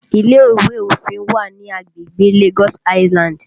Ile ìwé òfin wà ní agbègbè Lagos Island